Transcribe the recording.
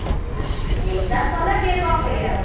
exam ସରିଲା କିଏ କଣ କହିବ ଆଉ